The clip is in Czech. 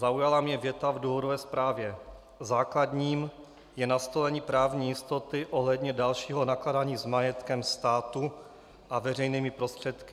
Zaujala mě věta v důvodové zprávě: "Základním je nastolení právní jistoty ohledně dalšího nakládání s majetkem státu a veřejnými prostředky."